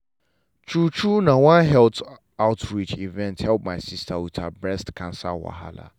true true na one health outreach event help my sister with her breast cancer wahala.